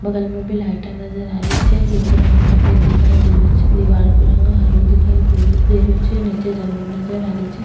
बगल में भी लाइटा नजर आ रही छे जेको रंग सफ़ेद दिखाई दे रो छे दिवार को रंग हरो दिखाई दे रो छे निचे जमीं नजर आ रही छे।